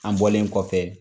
An bɔlen kɔfɛ